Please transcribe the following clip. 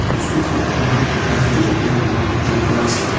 প্ৰস্তুত ফটো খনত এটা গুলপীয়া ৰঙৰ অট্টালিকা আছে।